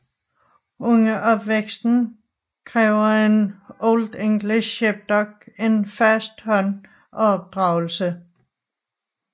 Under opvæksten kræver en Old English Sheepdog en fast hånd og opdragelse